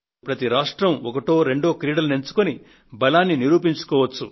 ప్రతి రాష్ట్రం ఒకటో రెండో క్రీడలను ఎంచుకొని బలాన్ని నిరూపించుకోవచ్చు